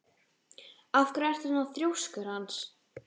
Af hverju ertu svona þrjóskur, Hans?